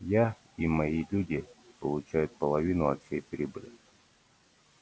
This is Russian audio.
и я и мои люди получат половину от всей прибыли